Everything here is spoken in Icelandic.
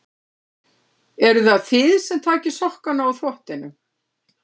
Eruð það þið sem takið sokkana úr þvottinum?